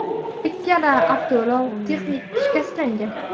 Ikkala avtoulov texnik shikastlangan.